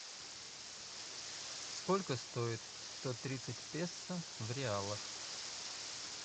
сколько стоит сто тридцать песо в реалах